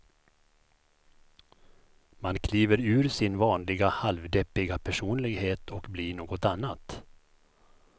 Man kliver ur sin vanliga halvdeppiga personlighet och blir något annat.